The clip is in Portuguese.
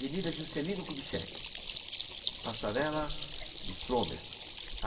Avenida Juscelino Kubitschek, passarela do Fromer.